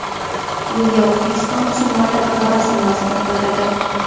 Bunga O‘zbekiston musulmonlari idorasi munosabat bildirdi .